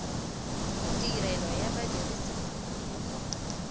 tirelo ya badirisi mo go